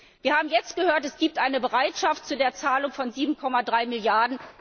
Wir haben jetzt gehört, es gibt eine Bereitschaft zu der Zahlung von 7,3